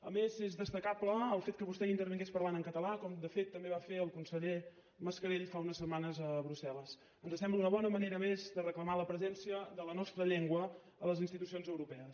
a més és destacable el fet que vostè hi intervingués parlant en català com de fet també va fer el conseller mascarell fa unes setmanes a brusselmés de reclamar la presència de la nostra llengua a les institucions europees